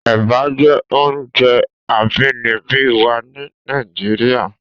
Èbà jé óoùnjè àbínìbí wà ni Nàijiriá